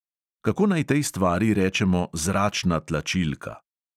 Kako naj tej stvari rečemo zračna tlačilka?